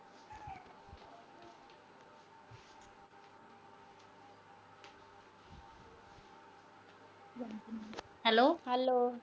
hello